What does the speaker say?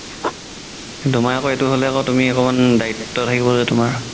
তুমাৰ আকৌ এইটো হ'লে আকৌ তুমি অকমাণ দায়িত্ব থাকিব যে তুমাৰ